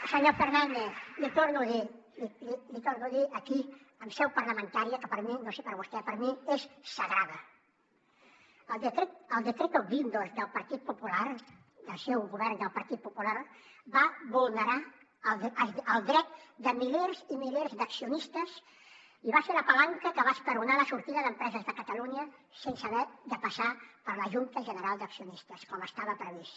i senyor fernández l’hi torno a dir l’hi torno a dir aquí en seu parlamentària que per a mi no sé per a vostè és sagrada el decreto guindos del partit popular del seu govern del partit popular va vulnerar el dret de milers i milers d’accionistes i va ser la palanca que va esperonar la sortida d’empreses de catalunya sense haver de passar per la junta general d’accionistes com estava previst